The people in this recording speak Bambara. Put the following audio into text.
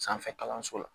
Sanfɛ kalanso la